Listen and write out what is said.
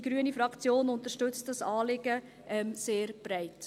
Die grüne Fraktion unterstützt dieses Anliegen sehr breit.